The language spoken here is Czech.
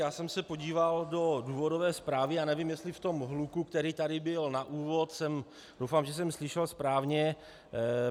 Já jsem se podíval do důvodové zprávy a nevím, jestli v tom hluku, který tady byl na úvod, doufám, že jsem slyšel správně.